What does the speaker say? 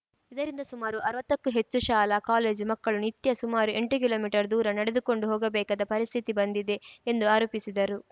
ಇದರಿಂದ ಸುಮಾರು ಅರ್ವತ್ತಕ್ಕೂ ಹೆಚ್ಚು ಶಾಲಾ ಕಾಲೇಜು ಮಕ್ಕಳು ನಿತ್ಯ ಸುಮಾರು ಎಂಟು ಕಿಲೋಮೀಟರ್ ದೂರ ನಡೆದುಕೊಂಡು ಹೋಗಬೇಕಾದ ಪರಿಸ್ಥಿತಿ ಬಂದಿದೆ ಎಂದು ಆರೋಪಿಸಿದರು